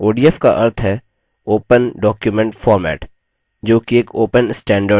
odf का अर्थ है open document format जो कि एक open standard है